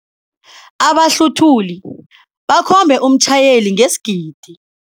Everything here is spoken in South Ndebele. Abahluthuli bakhombe umtjhayeli ngesigidi.